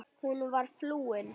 Hún var flúin.